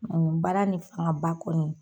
Mangan baara nin fanga ba kɔni.